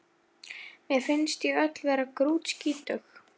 Mér finnst ég öll vera grútskítug